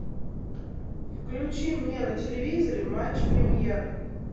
включи мне на телевизоре матч премьер